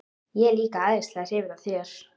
Ég er líka æðislega hrifin af þér.